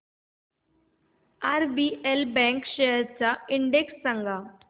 RBL bank shares चा index सांगा